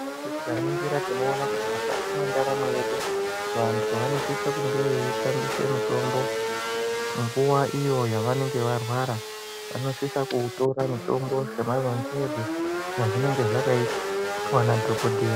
Tikaningira tinoone kuti mukati mwendaramo yedu vantu vanosisa kunge veyitambise mutombo nguva iyoo yavanenge varwara vanosisa kuutora mutombo semarangirwe azvinenge zvakaitwa nadhokoteya.